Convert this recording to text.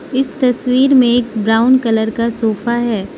इस तस्वीर में एक ब्राउन कलर का सोफा है।